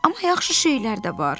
Amma yaxşı şeylər də var.